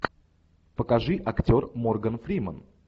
покажи актер морган фримен